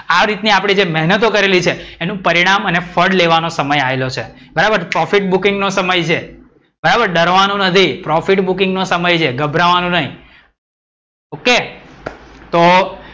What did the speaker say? આ રીતની આપણે જે મહેનતો કરેલી છે. એનું પરિણામ અને ફળ લેવાનો સમય આયેલો છે. બરાબર profit booking નો સમય છે. બરાબર ડરવાનું નથી. profit booking નો સમય છે ગભરવાનું નઇ. OK તો,